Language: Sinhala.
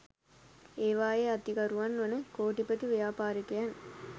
ඒවායේ අයිතිකරුවන් වන කෝටිපති ව්‍යාපාරිකයන්